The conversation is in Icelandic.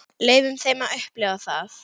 Leyfum þeim að upplifa það.